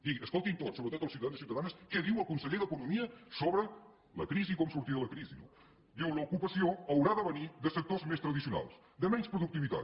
i escoltin tots sobretot els ciutadans i ciutadanes què diu el conseller d’economia sobre la crisi i com sortir de la crisi no diu l’ocupació haurà de venir de sectors més tradicionals de menys productivitat